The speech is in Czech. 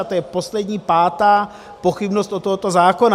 A to je poslední, pátá pochybnost o tomto zákonu.